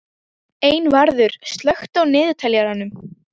Einvarður, slökktu á niðurteljaranum.